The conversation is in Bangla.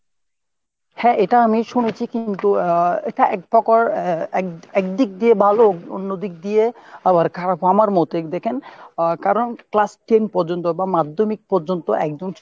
হ্যাঁ এটা আমি শুনেছি কিন্তু আহ আহ এক~ একদিক দিয়ে ভালো অন্যদিকে দিয়ে আবার খারাপও আমার মতে , দেখেন আহ class ten পর্যন্ত বা মাধ্যমিক পর্যন্ত একদম।